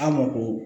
An ma ko